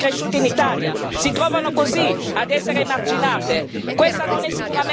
Nuove generazione nate e cresciute in Italia si trovano così ad essere emarginate.